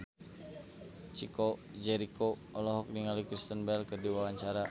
Chico Jericho olohok ningali Kristen Bell keur diwawancara